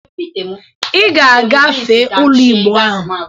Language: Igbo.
Ị ga-agafe ule Igbo a!